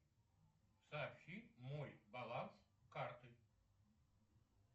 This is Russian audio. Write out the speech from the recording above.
сообщи мой баланс карты